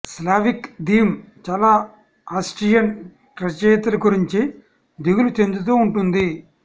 Slavic theme చాలా Austrian రచయితల గురించి దిగులు చెందుతూ ఉంటుంది